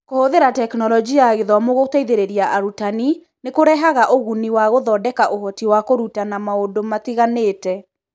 Kũhũthĩra Tekinoronjĩ ya Gĩthomo gũteithĩrĩria arutani nĩ kũrehaga ũguni wa gũthondeka ũhoti wa kũrutana maũndũ matiganĩte.